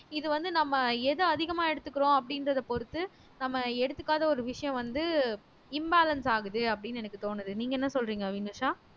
இது வந்து நம்ம எது அதிகமா எடுத்துக்கிறோம் அப்படின்றதை பொறுத்து நம்ம எடுத்துக்காத ஒரு விஷயம் வந்து imbalance ஆகுது அப்படின்னு எனக்கு தோணுது நீங்க என்ன சொல்றீங்க வினுஷா